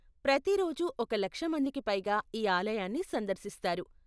ప్రతి రోజూ ఒక లక్ష మందికి పైగా ఈ ఆలయాన్ని సందర్శిస్తారు.